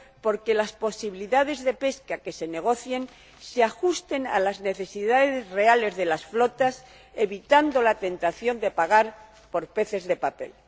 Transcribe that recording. por que las posibilidades de pesca que se negocien se ajusten a las necesidades reales de las flotas, evitando la tentación de pagar por peces de papel.